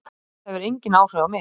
Þetta hefur engin áhrif á mig.